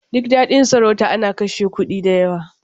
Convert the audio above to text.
Duk naɗin sarauta ana kashe kuɗi da yawa.